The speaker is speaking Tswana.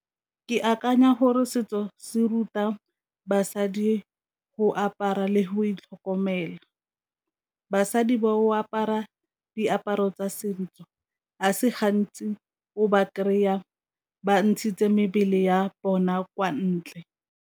Ke akanya gore setso se ruta basadi go apara le go itlhokomela, basadi ba go apara diaparo tsa se gantsi o ba kry-a ba ntshitse mebele ya bona kwa ntle.